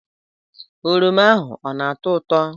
oroma ahụ ọ na-atọ ụtọ?